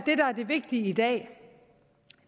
er det vigtige i dag